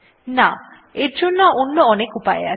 না এর জন্য অন্য অনেক উপায় আছে